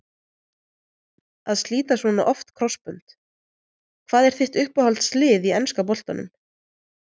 Að slíta svona oft krossbönd Hvað er þitt uppáhalds lið í enska boltanum?